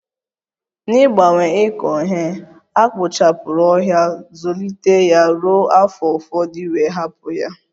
N'ịgbanwe ịkọ ihe, a kpochapụrụ ọhịa, Zụlite ya ruo afọ ụfọdụ wee hapụ ya